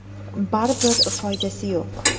Baribir foydasi yo‘q.